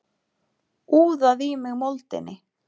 Úðað í mig moldinni.